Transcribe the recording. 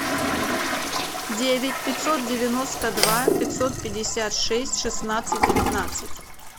девять пятьсот девяносто два пятьсот пятьдесят шесть шестнадцать девятнадцать